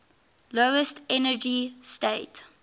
lowest energy state